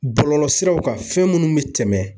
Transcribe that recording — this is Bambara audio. Bɔlɔlɔsiraw kan fɛn minnu bɛ tɛmɛ.